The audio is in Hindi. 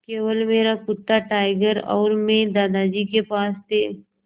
केवल मेरा कुत्ता टाइगर और मैं दादाजी के पास थे